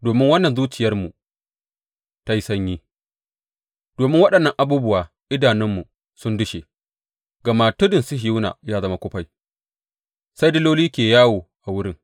Domin wannan zuciyarmu ta yi sanyi; domin waɗannan abubuwa idanunmu sun dushe gama Tudun Sihiyona ya zama kufai, sai diloli ke yawo a wurin.